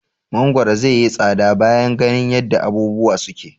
Mangoro zaiyi tsada bana ganin yadda abubuwa suke.